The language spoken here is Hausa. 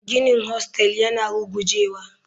Ginin hostel yana rugujewa.